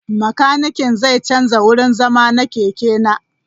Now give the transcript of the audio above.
Makanikin zai canza wurin zama na keke na.